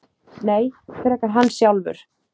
Nei, frekar hann sjálfur.